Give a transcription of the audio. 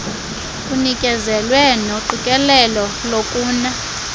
kunikezelwe noqikelelo lokuna